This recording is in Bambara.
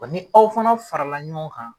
Bɔ ni aw fana farala ɲɔgɔn kan